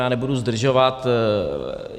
Já nebudu zdržovat.